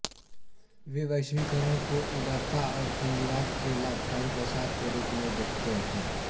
वे वैश्वीकरण को उदारता और पूँजीवाद के लाभकारी प्रसार के रूप में देखते हैं